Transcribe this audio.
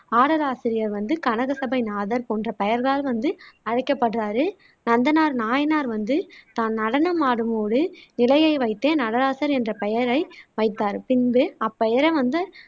ஆடலாசிரியர் வந்து கனகசபைநாதர் போன்ற பெயர்களால் வந்து அழைக்கப்படுறாரு நந்தனார் நாயனார் வந்து தான் நடனமாடும் போது நிலையை வைத்தே நடராசர் என்ற பெயரை வைத்தார் பின்பு அப்பெயரே வந்து